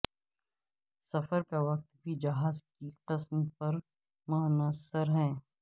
سفر کا وقت بھی جہاز کی قسم پر منحصر ہے